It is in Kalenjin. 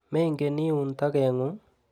Mengen iun tokeng'ung'?